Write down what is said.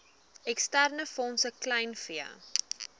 eksterne fondse kleinvee